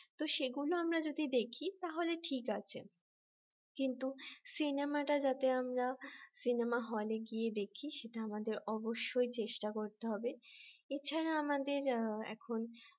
তো সেগুলো আমরা যদি দেখি তাহলে ঠিক আছে কিন্তু সিনেমাটা যাতে আমরা সিনেমা হলে গিয়ে দেখি সেটা আমাদের অবশ্যই চেষ্টা করতে হবে এছাড়া আমাদের এখন